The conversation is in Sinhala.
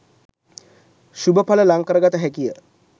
ශුභ ඵල ලං කරගත හැකිය